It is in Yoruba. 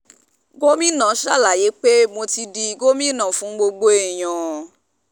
gomina ṣàlàyé pé mo ti di gómìnà fún gbogbo èèyàn